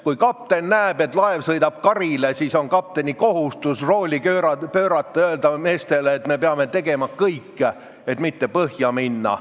Kui kapten näeb, et laev sõidab karile, siis on kapteni kohustus rooli pöörata ja öelda meestele, et me peame tegema kõik, et mitte põhja minna.